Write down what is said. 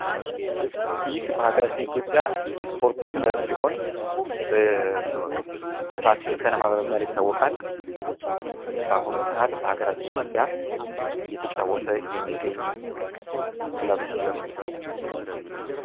ይህ በሀገራችን ኢትዮጵያ የስፖርት ክለብ ሲሆን ፋሲል ከነማ በመባል ይታወቃል። በአሁኑ ሰአት በሀገራችን ኢትዮጵያ እየተጫወተ የሚገኝ ክለብ ነው።